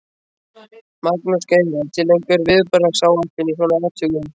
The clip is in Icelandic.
Magnús Geir: Er til einhver viðbragðsáætlun í svona atvikum?